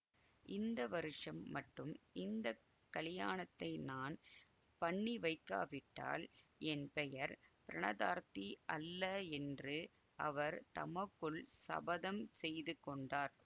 இந்த வருஷம் மட்டும் இந்த கலியாணத்தை நான் பண்ணிவைக்காவிட்டால் என் பெயர் பிரணதார்த்தி அல்ல என்று அவர் தமக்குள் சபதம் செய்து கொண்டார்